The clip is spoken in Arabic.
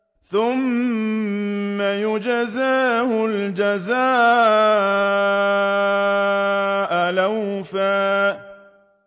ثُمَّ يُجْزَاهُ الْجَزَاءَ الْأَوْفَىٰ